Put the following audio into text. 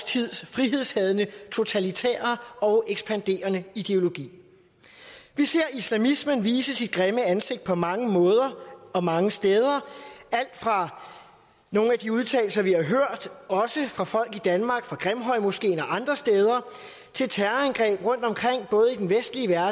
tids frihedshadende totalitære og ekspanderende ideologi vi ser islamismen vise sit grimme ansigt på mange måder og mange steder alt fra nogle af de udtalelser vi har hørt også fra folk i danmark fra grimhøjmoskeen og andre steder til terrorangreb rundtomkring både i den vestlige